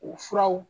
U furaw